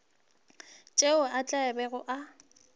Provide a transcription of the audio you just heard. tšeo a tla bego a